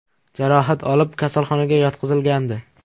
jarohat olib, kasalxonaga yotqizilgandi.